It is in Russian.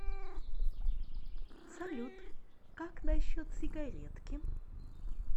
салют как насчет сигаретки